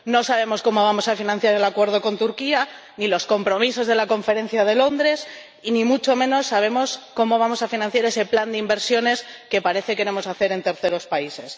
No sabemos cómo vamos a financiar el acuerdo con Turquía, ni los compromisos de la Conferencia de Londres, ni mucho menos sabemos cómo vamos a financiar ese plan de inversiones que parece queremos hacer en terceros países.